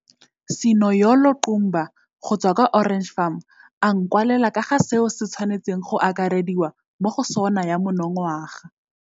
11 Sinoyolo Qumba go tswa kwa Orange Farm a nkwalela ka ga seo se tshwanetseng go akarediwa mo go SoNA ya monongwaga.